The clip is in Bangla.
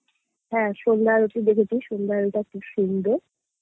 হ্যাঁ সন্ধ্যা আরতি দেখেছি সন্ধ্যা আরতিটা খুব সুন্দর